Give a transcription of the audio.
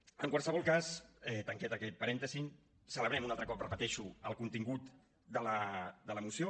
en qualsevol cas tanquem aquest parèntesi celebrem un altre cop ho repeteixo el contingut de la moció